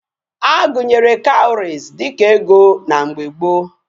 Agunyere cowries dika ego na mgbe gboo